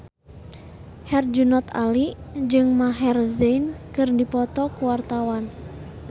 Herjunot Ali jeung Maher Zein keur dipoto ku wartawan